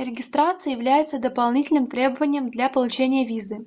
регистрация является дополнительным требованием для получения визы